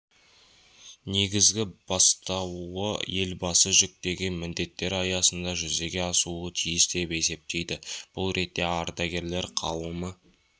негізгі бастауы елбасы жүктеген міндеттер аясында жүзеге асуы тиіс деп есептейді бұл ретте ардагерлер қауымы